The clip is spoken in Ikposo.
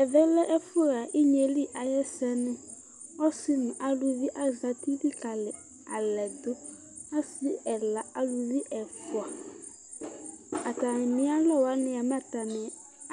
Ɛvɛ lɛ ɛfʋxa inyeli ayʋ ɛsɛ ni ɔsi nʋ alʋvi azeti likali alɛdʋ asi ɛla alʋvi ɛfʋa atami alɔ wani mɛ